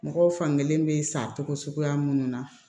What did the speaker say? Mɔgɔw fankelen bɛ san togo suguya minnu na